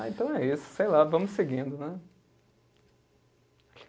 Ah, então é isso, sei lá, vamos seguindo, né?